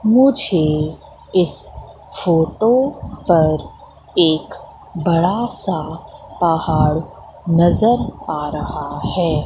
मुझे इस फोटो पर एक बड़ा सा पहाड़ नज़र आ रहा है।